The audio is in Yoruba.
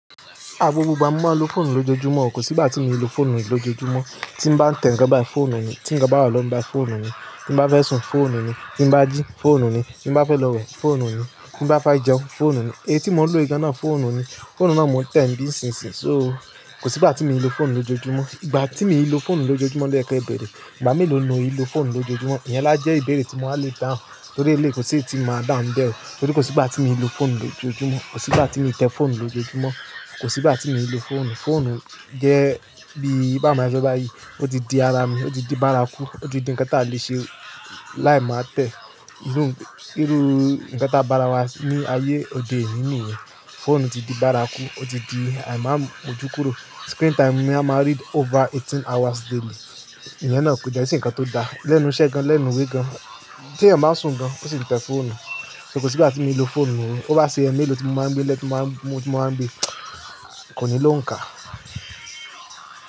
A gbogbo igba mo máa ń lo fóònù lójoojúmọ́, kò sìgbà tí mí ò lo fóònù lójoojúmọ́. Tí m bá tẹ̀ nnkan bayi fóònù ni, tí eyan bá báwa lọ gbà fóònù ni, tí mo bá fẹ́ sùn, fóònù ni, tí mo bá jí, fóònù ni, tí mo bá fẹ́ lọ wẹ̀, fóònù ni, tí mo bá fẹ́ jẹun, fóònù ni. Èyí tí mò ń lo ì gana fóònù ni. Fóònù náà mo ń tẹ̀ bí i ṣinṣin. So kò sìgbà tí mí i lo fóònù lójoojúmọ́. Ìgbà tí mi i lo fóònù lójoojúmọ́ lọ́ ye kẹ bẹ̀rẹ̀. Ìgbà mélòó ni mo n lo fóònù lójoojúmọ́? Ìyẹn la jẹ́ ìbéèrè tí mo á lè dáhùn torí eléeyi kò sí tí mo máa dáhùn bẹ́ẹ̀. Torí kò sí ìgbà tí mi i lo fóònù lójoojúmọ́. Kò sí ìgbà tí mi i tẹ fóònù lójoojúmọ́. Kò sí ìgbà tí mo ti lo fóònù. Fóònù jẹ́ bí i bá ma sọ bá yí, ó ti di ara mi, ó ti di bárakú, ó ti di ǹkan tí a lè ṣe láì máa tẹ̀. Irú ǹkan ta bá ra wá ní ayé òde òní yìí, fóònù ti di bárakú, ó ti di àìmọ́ mo jukuró. Screen time mi a máa read over eighteen hours daily. Ìyẹn náà kò dẹ́ n ṣe nǹkan tó da. Lẹ́nu iṣẹ́ gan, lẹ́nu ìwé gan, tí ẹ̀yàn bá sùn gan, ó sì ti tẹ fóònù. So kò sí ìgbà tí mo ti lo fóònù mọ́. Ó bá ṣe ẹ́ mélòó tí mo máa ń gbé lẹ́ti mo máa ń gbé, kò ní ló ń ka.